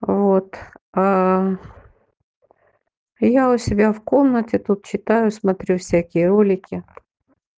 вот аа я у себя в комнате тут читаю смотрю всякие ролики